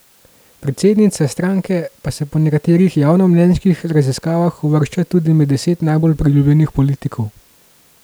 Predsednica stranke pa se po nekaterih javnomnenjskih raziskavah uvršča tudi med deset najbolj priljubljenih politikov.